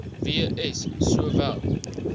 w s sowel